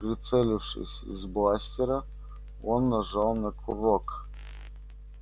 прицелившись из бластера он нажал на курок